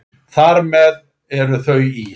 Þar með eru þau ís